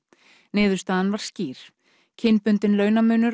niðurstaðan var skýr kynbundinn launamunur